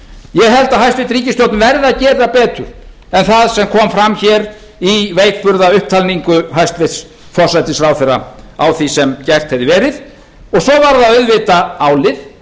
ég held að hæstvirt ríkisstjórn verði að gera betur en það sem kom fram í veikburða upptalningu hæstvirtur forsætisráðherra á því sem gert hefði verið og svo var það auðvitað álið